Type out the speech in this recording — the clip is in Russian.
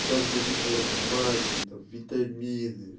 сейчас до сих пор пью магний там витамины